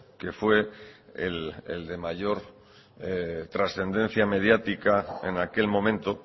que fue el de mayor trascendencia mediática en aquel momento